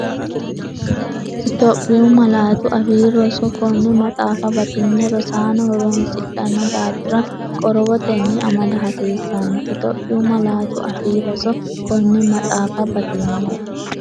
Itophiyu Malaatu Afii Roso Konne maxaafa batinye rosaano horoonsidhanno daafira qorowotenni amada hasiissanno Itophiyu Malaatu Afii Roso Konne maxaafa batinye.